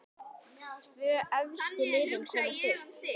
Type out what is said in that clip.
Tvö efstu liðin komast upp.